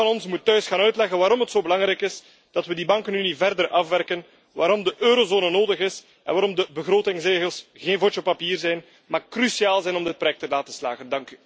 op. Ieder van ons moet thuis gaan uitleggen waarom het zo belangrijk is dat we die bankenunie verder afwerken, waarom de eurozone nodig is en waarom de begrotingsregels geen vodje papier zijn, maar cruciaal zijn om dit project te laten slagen.